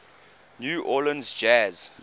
new orleans jazz